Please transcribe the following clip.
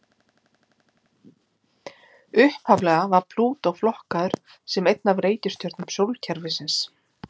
Upphaflega var Plútó flokkaður sem ein af reikistjörnum sólkerfisins.